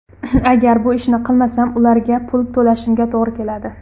Agar bu ishni qilmasam, ularga pul to‘lashimga to‘g‘ri keladi.